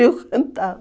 Eu cantava.